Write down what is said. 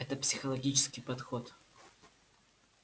это психологический подход